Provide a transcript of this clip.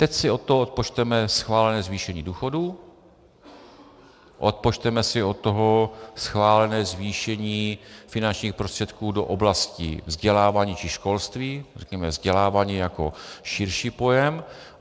Teď si od toho odpočteme schválené zvýšení důchodů, odpočteme si od toho schválené zvýšení finančních prostředků do oblasti vzdělávání či školství, řekněme vzdělávání jako širší pojem.